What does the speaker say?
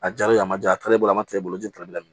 A jalen a ma ja a taara ne bolo a ma taa ne bolo jɛn taali la